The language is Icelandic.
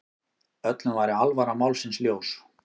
Öllum væri alvara málsins ljós.